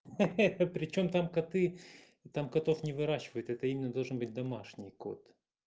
хе-хе а причём там коты там котов не выращивают это именно должен быть домашний кот